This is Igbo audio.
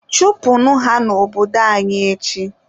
chụpụnụ ha n'obodo anyị echi!.